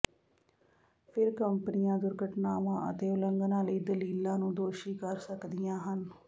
ਫਿਰ ਕੰਪਨੀਆਂ ਦੁਰਘਟਨਾਵਾਂ ਅਤੇ ਉਲੰਘਣਾਂ ਲਈ ਦਲੀਲਾਂ ਨੂੰ ਦੋਸ਼ੀ ਕਰ ਸਕਦੀਆਂ ਹਨ